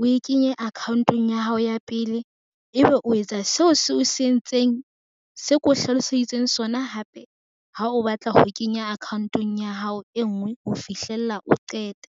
O e kenye account-ong ya hao ya pele, ebe o etsa seo se o se entseng. Se ke o hlaloseditseng sona hape, ha o batla ho kenya account-ong ya hao e nngwe ho fihlella o qete.